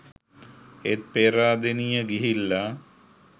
ඒත් පේරාදෙනියෙ ගිහිල්ල